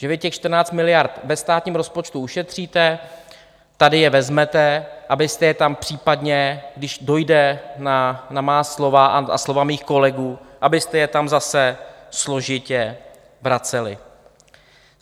Že vy těch 14 miliard ve státním rozpočtu ušetříte, tady je vezmete, abyste je tam případně, když dojde na má slova a slova mých kolegů, abyste je tam zase složitě vraceli.